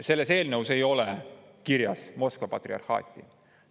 Selles eelnõus ei ole kirjas Moskva patriarhaati.